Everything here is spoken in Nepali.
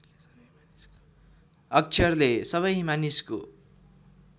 अक्षरले सबै मानिसको